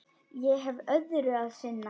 Ég hef öðru að sinna.